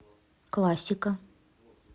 классика